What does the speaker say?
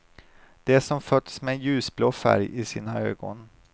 De som fötts med ljusblå färg i sina ögon.